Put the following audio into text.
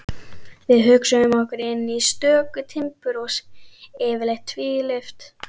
Við hugsuðum okkur inn í stöku timburhús, yfirleitt tvílyft.